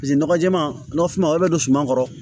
Paseke nɔgɔ jɛɛma suma olu bɛ don suman kɔrɔ